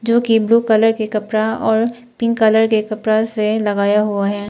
जो कि blue colour के कपड़ा और पिंक कलर के कपड़ा से लगाया हुआ है।